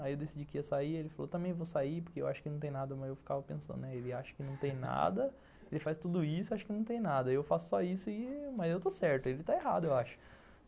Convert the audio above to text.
Aí eu decidi que ia sair, ele falou, também vou sair, porque eu acho que não tem nada, mas eu ficava pensando, né, ele acha que não tem nada, ele faz tudo isso, acha que não tem nada, aí eu faço só isso e, mas eu estou certo, ele está errado, eu acho.